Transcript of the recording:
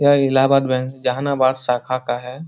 यह इलाहाबाद बैंक जहानाबाद साखा का है।